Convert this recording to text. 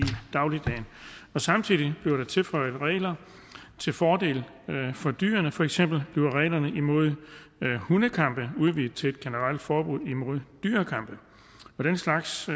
dagligdagen samtidig bliver der tilføjet regler til fordel for dyrene for eksempel bliver reglerne mod hundekampe udvidet til et generelt forbud mod dyrekampe den slags